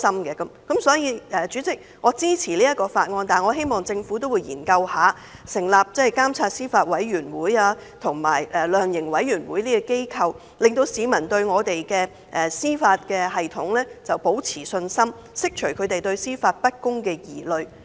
因此，主席，我支持這項《條例草案》，但我希望政府會研究成立監察司法委員會及量刑委員會等機構，讓市民對司法系統保持信心，釋除他們對司法不公的疑慮。